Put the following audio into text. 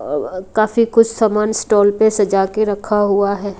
काफी कुछ सामान स्टॉल पे सजा के रखा हुआ है।